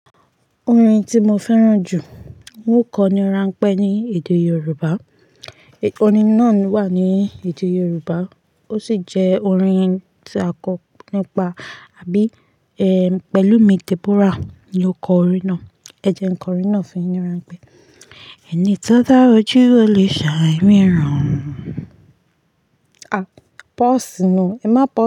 Orin tí mo fẹ́ràn jù, wò kọni ránpẹ́ ní èdè Yorùbá. Orin náà wà ní èdè Yorùbá ó sì jẹ́ orin tí a kọ nípa àbí pẹ̀lúmi Deborah ni ó kọ orin náà. Ẹ jẹ ń kọ orin náà fun yii ní ránpẹ́. Ẹni tó dá ojú, ó lè ṣàì rí ìran. À, pause nú, ẹ má pau.